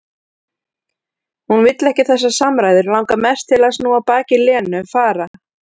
Hún vill ekki þessar samræður, langar mest til að snúa baki í Lenu, fara.